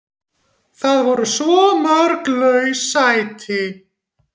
Það voru svo mörg laus sæti.